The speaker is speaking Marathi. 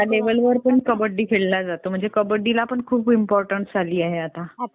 लेव्हल वर कबड्डी खेळला जातो म्हणजे कबड्डी ला पण खूप इम्पॉर्टन्स आली आहे आता.